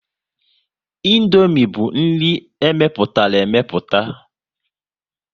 Indomie bụ nri e mepụtara emeputa